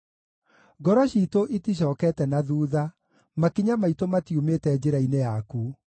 Ngoro ciitũ iticookete na thuutha; makinya maitũ matiumĩte njĩra-inĩ yaku.